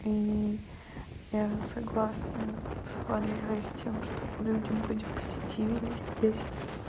и я согласна с валерой с тем чтоб люди бодипозитивились здесь